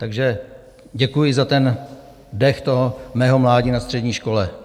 Takže děkuji za ten dech toho mého mládí na střední škole.